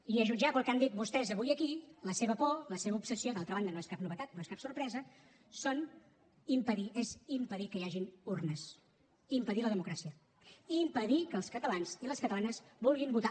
i a jutjar pel que han dit vostès avui aquí la seva por la seva obsessió d’altra banda no és cap novetat no és cap sorpresa és impedir que hi hagin urnes impedir la democràcia i impedir que els catalans i les catalanes vulguin votar